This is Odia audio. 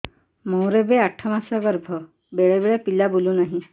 ମୋର ଏବେ ଆଠ ମାସ ଗର୍ଭ ବେଳେ ବେଳେ ପିଲା ବୁଲୁ ନାହିଁ